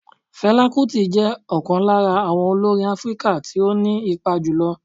Fela Kuti jẹ́ ọ̀kan lára àwọn olórin Áfíríkà tí ó ní ipa jùlọ